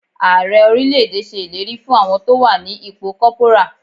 Ààrẹ orílẹ̀ èdè ṣe ìlérí fún àwọn tó wà ní ipò corporal.